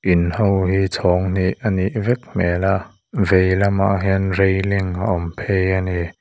in ho hi chhâwng hnih a nih vek hmêl a vei lamah hian railing a awm phei a ni.